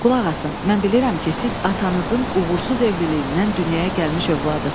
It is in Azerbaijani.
Qulaq asın, mən bilirəm ki, siz atanızın uğursuz evliliyindən dünyaya gəlmiş ovladısz.